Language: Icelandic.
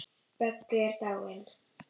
Böggi er dáinn.